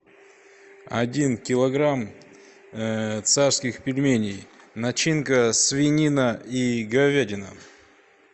один килограмм царских пельменей начинка свинина и говядина